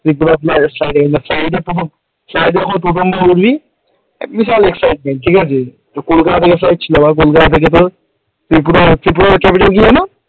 ত্রিপুরা বিশাল excitement ঠিক আছে, তো কলকাতা থেকে কলকাতা থেকে তোর ত্রিপুরা ত্রিপুরার capital কি যেন?